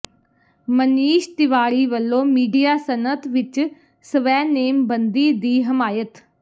ਮਨੀਸ਼ ਤਿਵਾੜੀ ਵੱਲੋਂ ਮੀਡੀਆ ਸਨਅਤ ਵਿੱਚ ਸਵੈ ਨੇਮਬੰਦੀ ਦੀ ਹਮਾਇਤ